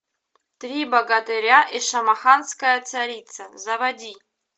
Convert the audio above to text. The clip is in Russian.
три богатыря и шамаханская царица заводи